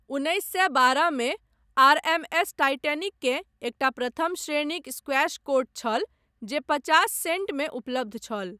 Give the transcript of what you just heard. उन्नैस सए बारहमे आरएमएस टाइटैनिककेँ एकटा प्रथम श्रेणीक स्क्वैश कोर्ट छल जे पचास सेंटमे उपलब्ध छल।